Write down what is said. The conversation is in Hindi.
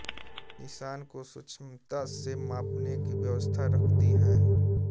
निशान को सूक्ष्मता से मापने की व्यवस्था रहती है